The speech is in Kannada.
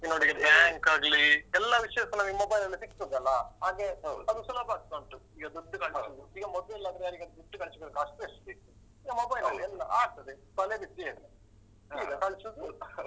ನೋಡಿ bank ಆಗ್ಲಿ ಎಲ್ಲಾ ವಿಷ್ಯಸ ನಮಗೆ mobile ಲಲ್ಲೆ ಸಿಗ್ತದೆ ಅಲಾ ಹಾಗೆ ಅದು ಸುಲಭ ಆಗ್ತಾ ಉಂಟು ಈಗ ದುಡ್ಡು ಕಳ್ಸುದು. ಈಗ ಮೊದ್ಲೆಲ್ಲಾದ್ರೆ ಯಾರಿಗದ್ರು ದುಡ್ಡು ಕಳಿಸ್ ಬೇಕಾದ್ರೆ ಕಷ್ಟ ಎಷ್ಟಿತ್ತು? ಈಗ mobile ಲಲ್ಲೇ ಎಲ್ಲಾ ಆಗ್ತದೆ. ತಲೆಬಿಸಿಯೇ ಇಲ್ಲ ಈಗ ಕಳ್ಸುದು .